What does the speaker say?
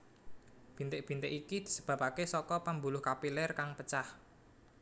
Bintik bintik iki disebabake saka pembuluh kapiler kang pecah